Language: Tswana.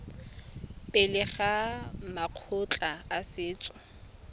pele ga makgotla a setso